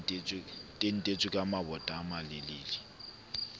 tantetswe ka mabota a malelele